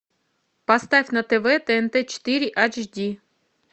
поставь на тв тнт четыре айч ди